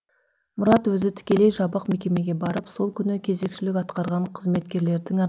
мұрат өзі тікелей жабық мекемеге барып сол күні кезекшілік атқарған қызметкерлердің